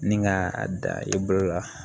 Ni ka a da i bolo la